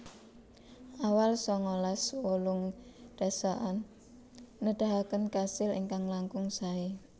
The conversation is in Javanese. Awal sangalas wolung dasaan nedahaken kasil ingkang langkung saé